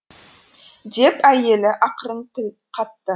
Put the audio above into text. деп әйелі ақырын тіл қатты